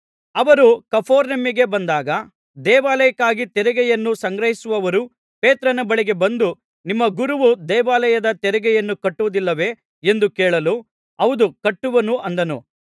ಅವರು ಕಪೆರ್ನೌಮಿಗೆ ಬಂದಾಗ ದೇವಾಲಯಕ್ಕಾಗಿ ತೆರಿಗೆಯನ್ನು ಸಂಗ್ರಹಿಸುವವರು ಪೇತ್ರನ ಬಳಿಗೆ ಬಂದು ನಿಮ್ಮ ಗುರುವು ದೇವಾಲಯದ ತೆರಿಗೆಯನ್ನು ಕಟ್ಟುವುದಿಲ್ಲವೇ ಎಂದು ಕೇಳಲು ಹೌದು ಕಟ್ಟುವನು ಅಂದನು